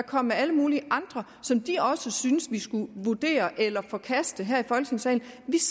kom med alle mulige andre som de også syntes vi skulle vurdere eller forkaste her i folketingssalen